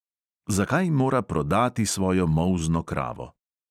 Zakaj mora prodati svojo molzno kravo?